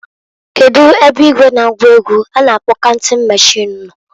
Kedu ebe igwe na-agụ ego a na-akpo counting machine no?